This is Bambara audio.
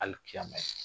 Hali fiɲɛba yi